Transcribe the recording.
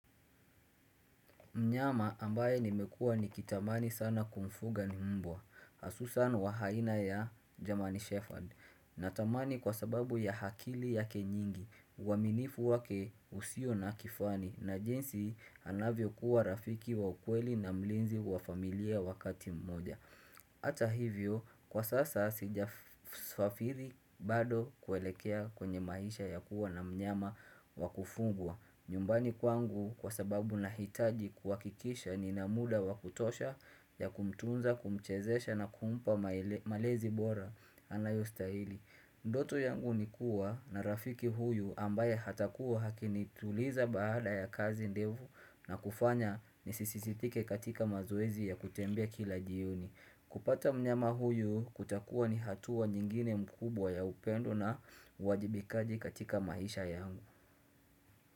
Mnyama ambaye nimekuwa nikitamani sana kumfuga ni mbwa, hasusan wa aina ya german shepherd natamani kwa sababu ya akili yake nyingi, uaminifu wake usio na kifani, na jinsi anavyo kuwa rafiki wa ukweli na mlinzi wa familia wakati mmoja. Hata hivyo kwa sasa sijafafiri bado kuelekea kwenye maisha ya kuwa na mnyama wa kufugwa nyumbani kwangu kwa sababu nahitaji kuhakikisha nina mda wa kutosha ya kumtunza kumchezesha na kumpa mae malezi bora Anayostahili Ndoto yangu ni kuwa na rafiki huyu ambaye atakuwa akinituliza baada ya kazi ndevu na kufanya nisisisitike katika mazoezi ya kutembea kila jioni kupata mnyama huyu kutakuwa ni hatua nyingine mkubwa ya upendo na wajibikaji katika maisha yangu.